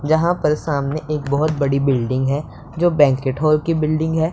जहां पर सामने एक बहोत बड़ी बिल्डिंग है जो बैंक्विट हॉल की बिल्डिंग है।